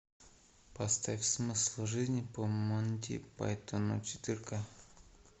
поставь смысл жизни по монти пайтону четырка